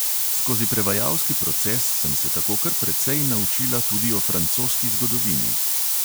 Skozi prevajalski proces sem se tako kar precej naučila tudi o francoski zgodovini.